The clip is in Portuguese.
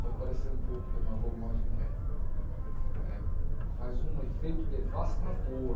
Pode parecer um pouco demagogo, mas não é. eh Faz um efeito devastador.